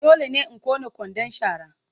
Dole ne in ƙone kwandon shara.